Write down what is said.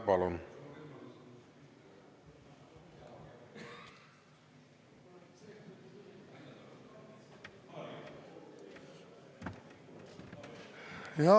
Palun!